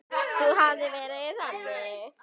Þá hefði hún verið þannig